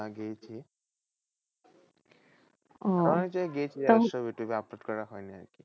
হ্যাঁ গেছি। অনেক জায়গায় গেছি সব ইউটিউবে upload করা হয়নি।